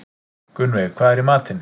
Gunnveig, hvað er í matinn?